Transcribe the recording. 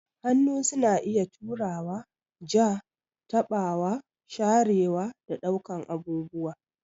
Hannu suna iya turawa, ja, taɓawa, sharewa, da ɗaukar abubuwa.